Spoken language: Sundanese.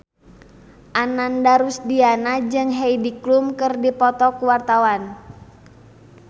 Ananda Rusdiana jeung Heidi Klum keur dipoto ku wartawan